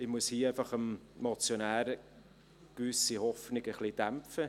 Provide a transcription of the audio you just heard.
Ich muss hier einfach gewisse Hoffnungen des Motionärs ein wenig dämpfen.